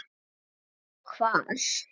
Einsog hvað?